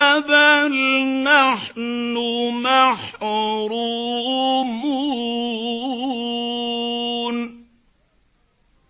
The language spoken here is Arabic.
بَلْ نَحْنُ مَحْرُومُونَ